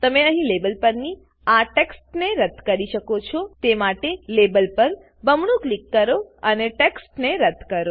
તમે અહીં લેબલ પરની આ ટેક્સ્ટને રદ્દ કરી શકો છો તે માટે લેબલ પર બમણું ક્લિક કરો અને ટેક્સ્ટને રદ્દ કરો